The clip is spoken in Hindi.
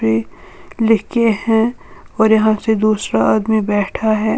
लिख के है और यहां से दूसरा आदमी बैठा है।